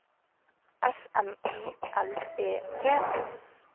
S M I L E T